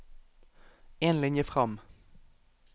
En linje fram